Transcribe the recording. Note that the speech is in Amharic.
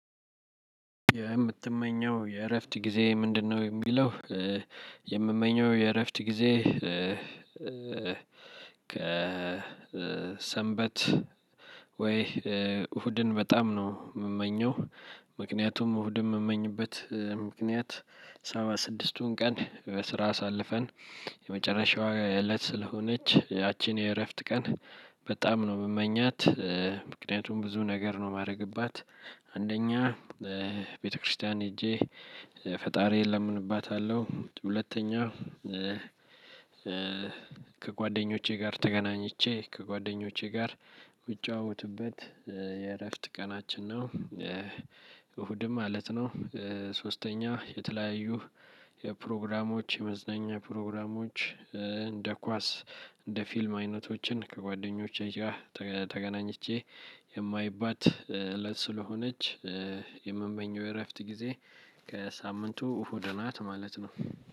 የምትመኘው የእረፍት ጊዜ ምንድነው? የሚለው የምመኘው የእረፍት ጊዜ ከሰንበት ወይ እሁድን በጣም ነው የምመኘው። ምክንያቱም እሁድን የምመኝበት ምክንያት ሰባ ስድስቱን ቀን በስራ አሳልፈን መጨረሻዋ እለት ስለሆነች ያችን የረፍት ቀን በጣም ነው የምመኛት። ምክንያቱም ብዙ ነገር ነው የማደርግባት። አንደኛ ቤተክርስቲያን ሄጄ ፈጣሪ እለምንባታለሁ ሁለተኛ ከጓደኞቼ ጋር ተገናኝቼ ከጓደኞቼ ጋር የምጫወትበት የእረፍት ቀናችን ነው። እሁድ ማለት ነው። ሶስተኛ የተለያዩ የፕሮግራሞች የመዝናኛ ፕሮግራሞች እንደ ኳስ እንደ ፊልም አይነቶችን ከጓደኞቼ ጋር ተገናኝቼ የማይባት እለት ስለሆነች የምመኘው የእረፍት ጊዜ ከሳምንቱ እሁድ ናት ማለት ነው።